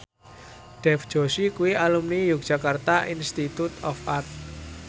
Dev Joshi kuwi alumni Yogyakarta Institute of Art